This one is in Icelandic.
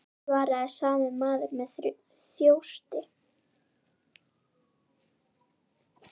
svaraði sami maður með þjósti.